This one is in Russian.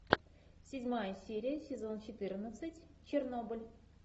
седьмая серия сезон четырнадцать чернобыль